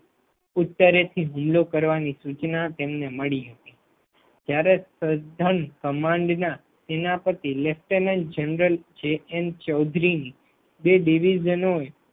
ઉત્તરેથી હુમલો કરવાની સૂચના તેમને મળી હતી ત્યારે સદન કમાંડના સેનાપતિ lieutenant general J N Chaudhuri બે ડિવિઝનો